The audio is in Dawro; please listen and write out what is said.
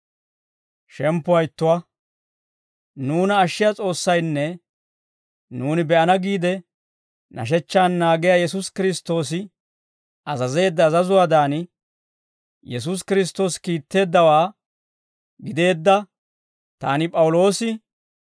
Nuuna ashshiyaa S'oossaynne nuuni be'ana giide nashechchan naagiyaa Yesuusi Kiristtoosi azazeedda azazuwaadan, Yesuusi Kiristtoosi kiitteeddawaa gideedda taani P'awuloosi,